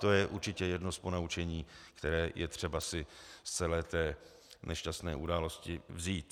To je určitě jedno z ponaučení, které je třeba si z celé té nešťastné události vzít.